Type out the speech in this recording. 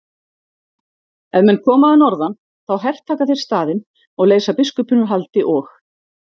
Ef menn koma að norðan þá hertaka þeir staðinn og leysa biskupinn úr haldi og.